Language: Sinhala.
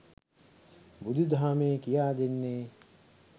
බුදු දහමේ කියා දෙන්නේ